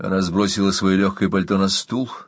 она сбросила своё лёгкое пальто на стул